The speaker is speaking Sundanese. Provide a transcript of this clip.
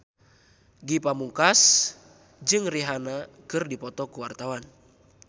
Ge Pamungkas jeung Rihanna keur dipoto ku wartawan